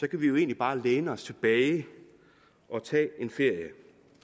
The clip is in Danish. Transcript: kan vi egentlig bare læne os tilbage og tage en ferie